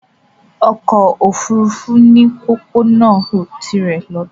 Ọkọ̀ ofurufu ni pópónà tirè lọtó